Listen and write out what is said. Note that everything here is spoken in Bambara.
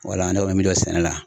Wala ne kɔni bɛ min dɔn sɛnɛ la